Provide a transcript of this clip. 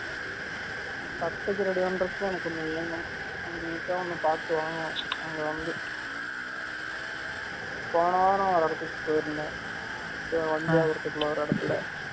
கட்டுக்கு ready பன்ரதுக்கு எனக்கு ஒன்னு வேனும் போன வாரம் ஒரு இடதுக்கு போய் இருந்தேன் வண்டியாபுரத்து குல்ல ஒரு இடதுக்குல